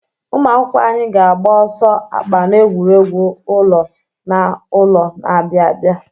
Ụmụ akwụkwọ anyị ga-agba ọsọ akpa n'egwuregwu ụlọ na ụlọ na-abịa abịa.